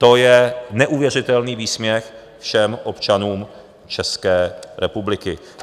To je neuvěřitelný výsměch všem občanům České republiky.